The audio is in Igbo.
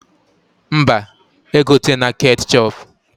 Mba, egotena ketchọp